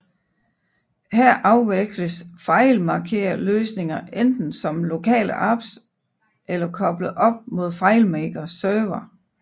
Her afvikles FileMakerløsningerne enten som lokale apps eller koblet op mod FileMaker Server